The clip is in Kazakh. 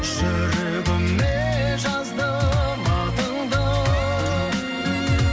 жүрегіме жаздым атыңды